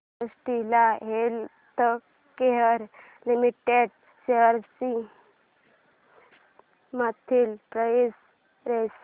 Cadila healthcare limited shares ची monthly price range